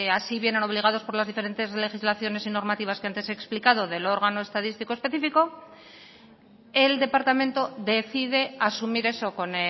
así vienen obligados por las diferentes legislaciones y normativas que antes he explicado del órgano estadístico específico el departamento decide asumir eso con